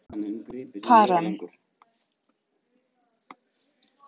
Karen